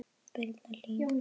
Birna Hlín.